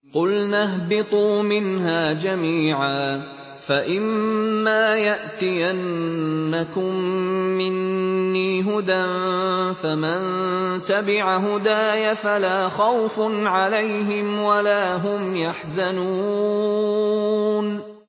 قُلْنَا اهْبِطُوا مِنْهَا جَمِيعًا ۖ فَإِمَّا يَأْتِيَنَّكُم مِّنِّي هُدًى فَمَن تَبِعَ هُدَايَ فَلَا خَوْفٌ عَلَيْهِمْ وَلَا هُمْ يَحْزَنُونَ